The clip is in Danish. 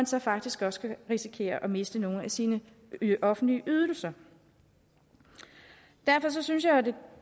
så faktisk også kan risikere at miste nogle af sine offentlige ydelser derfor synes jeg at det